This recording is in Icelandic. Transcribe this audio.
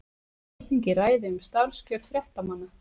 Alþingi ræði um starfskjör fréttamanna